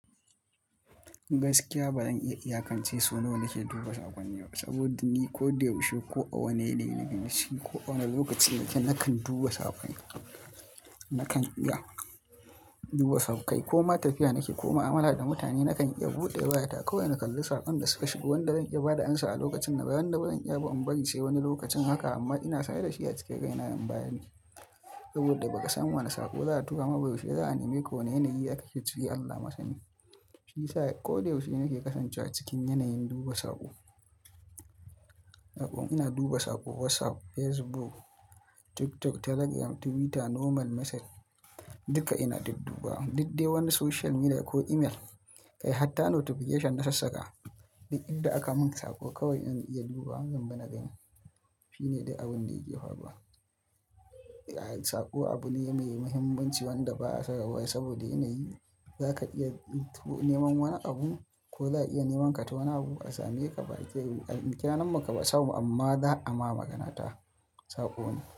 Gaskiya ba zan iya iyakance so nawa nake duba saƙonni ba saboda ni ko da yaushe, ko a wane yanayi na gani, ko a wane lokaci nake nakan duba saƙonni. Nakan iya duba saƙon kai ko ma tafiya nake ko ma amala da mutane nakan iya buɗe wayata kawai in kalli saƙon da suka shigo. Wanda zan iya ba da amsa a lokacin nan bayan na bazan iya ba, in bari sai wani lokacin haka amma ina sane da shi ya cika gaina in bani saboda baƙasan wane saƙo za a tura mabiyu shekara, za'a miƙo ne yanayi aka shafi Allah masani. Fi sai ko da yaushe nake kasancewa cikin yanayin duba saƙo. Naɓon ina duba saƙo, WhatsApp, Facebook, TikTok, Telegram, Twitter, normal message duka ina dudduba. Dudde wani social media ko email kai hatta notification na sassaka duk idan aka mun saƙo kawai in iya duba zan bi na gani. Shine dai abun da yake faruwa. Saƙo abu ne mai muhimmanci wanda ba'a saba wa saboda yanayi zaka iya neman wani abu ko za'a iya nemanka ta wani abu. A same ka ba a kyanan muka ba sabon amma za'a ma magana ta saƙo ne.